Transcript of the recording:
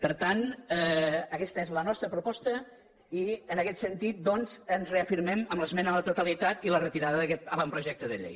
per tant aguesta és la nostra proposta i en aguest sentit doncs ens reafirmem en l’esmena a la totalitat i la retirada d’aguest avantprojecte de llei